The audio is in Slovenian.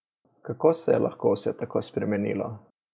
Kako se je lahko vse tako spremenilo?